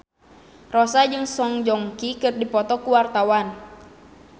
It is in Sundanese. Rossa jeung Song Joong Ki keur dipoto ku wartawan